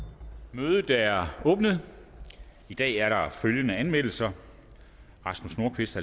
mødet er åbnet i dag er der følgende anmeldelser rasmus nordqvist